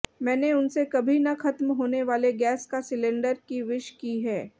मैंने उनसे कभी न खत्म होने वाले गैस का सिलेंडर की विश की है